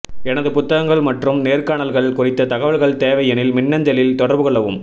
எனது புத்தகங்கள் மற்றும் நேர்காணல்கள் குறித்த தகவல்கள் தேவை எனில் மின்னஞ்சலில் தொடர்பு கொள்ளவும்